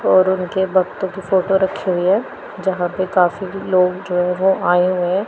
और उनके भक्तों की फोटो रखी हुई है जहां पे काफी भी लोग जो है वो आए हुए हैं।